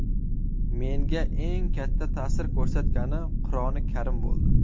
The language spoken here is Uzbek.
Menga eng katta ta’sir ko‘rsatgani Qur’oni karim bo‘ldi.